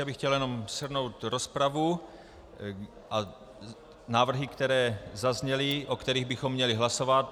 Já bych chtěl jenom shrnout rozpravu a návrhy, které zazněly, o kterých bychom měli hlasovat.